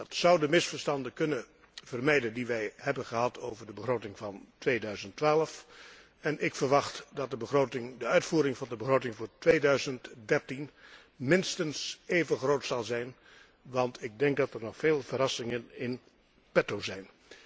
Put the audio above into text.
Dat zou de misverstanden kunnen vermijden die wij hebben gehad over de begroting van 2012, en ik verwacht dat de uitvoering van de begroting voor 2013 minstens even groot zal zijn, want ik denk dat er nog veel verrassingen in petto zijn.